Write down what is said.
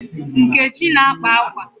Nkechi na-akpa akwa.